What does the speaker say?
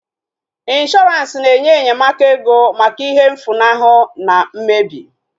Ịnshọransị na-enye enyemaka ego maka ihe mfulahu na mmebi